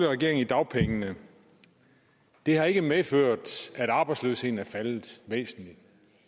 regering i dagpengene det har ikke medført at arbejdsløsheden er faldet væsentligt